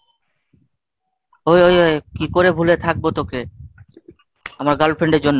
ওই ওই কি করে ভুলে থাকবো তোকে, আমার girlfriend এর জন্য।